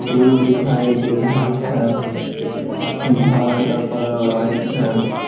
फूल दिखाई दे रहा है घर का कलर वाइट है।